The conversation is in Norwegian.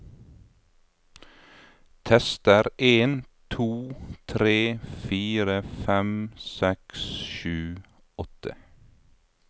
Tester en to tre fire fem seks sju åtte